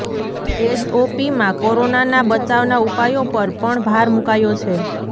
એસઓપીમાં કોરોનાના બચાવના ઉપાયો પર પણ ભાર મૂકાયો છે